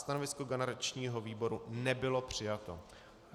Stanovisko garančního výboru nebylo přijato.